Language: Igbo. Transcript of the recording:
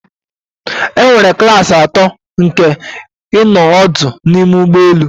Enwere klasi atọ nke ịnọ ọdụ n'ime ụgbọ elu